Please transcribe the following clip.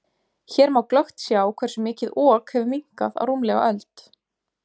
Hér má glöggt sjá hversu mikið Ok hefur minnkað á rúmlega öld.